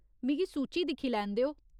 मिगी सूची दिक्खी लैन देओ।